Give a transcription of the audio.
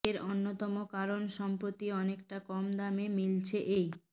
এর অন্যতম কারণ সম্প্রতি অনেকটা কম দামে মিলছে এই